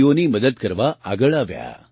દર્દીઓની મદદ કરવા આગળ આવ્યા